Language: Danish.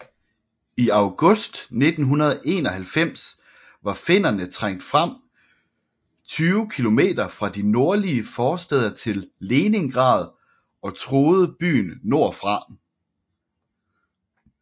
I august 1941 var finnerne trængt frem 20 km fra de nordlige forstæder til Leningrad og truede byen nordfra